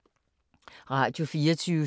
Radio24syv